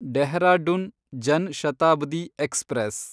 Dehradun Jan Shatabdi express